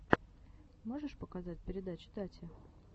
можешь показать передачи тати